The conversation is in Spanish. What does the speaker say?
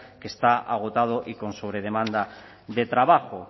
que está agotado y con sobre demanda de trabajo